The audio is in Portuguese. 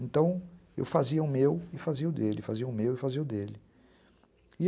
Então eu fazia o meu e fazia o dele, fazia o meu e fazia o dele.